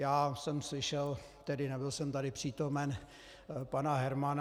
Já jsem slyšel - tedy nebyl jsem tady přítomen - pana Hermana.